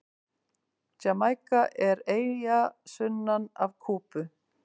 Jamaíka er eyja sunnan af Kúbu.